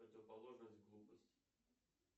противоположность глупости